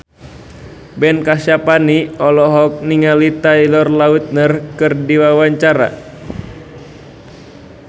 Ben Kasyafani olohok ningali Taylor Lautner keur diwawancara